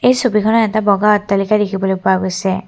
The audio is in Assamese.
এই ছবিখনত এটা বগা অট্টালিকা দেখিবলৈ পোৱা গৈছে।